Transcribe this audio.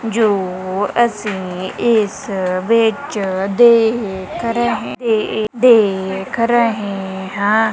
ਜੋ ਅਸੀਂ ਇਸ ਵਿੱਚ ਦੇਖ ਰਹੇ ਏ ਦੇਖ ਰਹੇ ਹਾਂ।